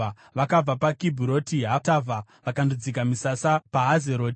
Vakabva paKibhuroti Hataavha vakandodzika misasa paHazeroti.